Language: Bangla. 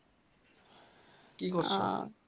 কি